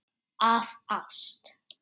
Af ást.